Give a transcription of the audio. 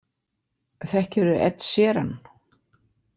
Þekkirðu Ed Sheeran?